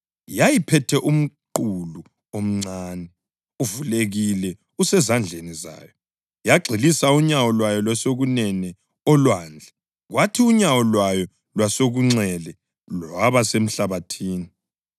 Yayiphethe umqulu omncane, uvulekile usezandleni zayo. Yagxilisa unyawo lwayo lokwesokunene olwandle kwathi unyawo lwayo lwesokunxele lwaba semhlabathini